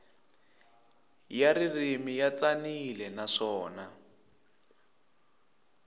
ya ririmi ya tsanile naswona